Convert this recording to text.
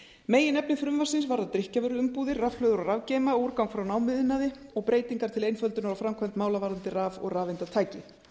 meginefni frumvarpsins varðar drykkjarvöruumbúðir rafhlöður og rafgeyma og úrgang frá námuiðnaði og breytingar til einföldunar á framkvæmd mála varðandi raf og rafeindatæki